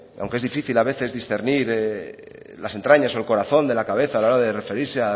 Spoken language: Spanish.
aunque es difícil a veces discernir las entrañas o el corazón de la cabeza a la hora de referirse